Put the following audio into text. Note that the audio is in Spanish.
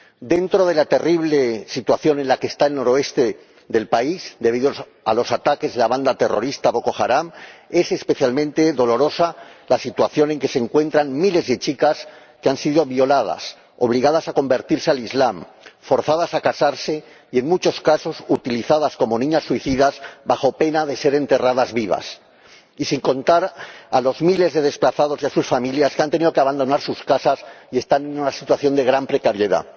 Dentro de la terrible situación en la que está el noroeste del país, debido a los ataques de la banda terrorista Boko Haram, es especialmente dolorosa la situación en que se encuentran miles de chicas que han sido violadas, obligadas a convertirse al Islam, forzadas a casarse y, en muchos casos, utilizadas como niñas suicidas bajo pena de ser enterradas vivas, y eso sin contar a los miles de desplazados y a sus familias, que han tenido que abandonar sus casas y están en una situación de gran precariedad.